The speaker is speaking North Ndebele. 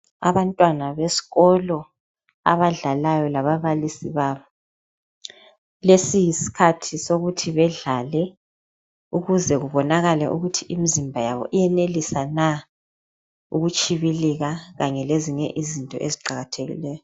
Abantwana besikolo abadlalayo lababalisi babo, lesi yisikhathi sokuthi bedlale ukuze bebonakale ukuthi imizimba yabo iyenelisa Na ukutshibilika kanye lezinye izinto eziqakathekileyo.